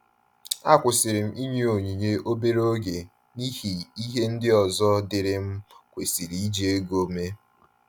A kwusiri m inyu onyinye obere oge n'ihi ihe ndị ọzọ diri m kwesịrị iji ego eme